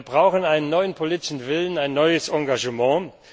Wir brauchen einen neuen politischen Willen, ein neues Engagement.